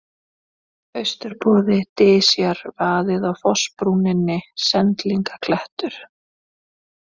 Austurboði, Dysjar, Vaðið á fossbrúninni, Sendlingaklettur